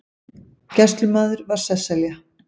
Gæslumaður var Sesselja